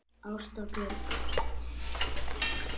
Ásta Björk.